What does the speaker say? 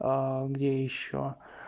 где ещё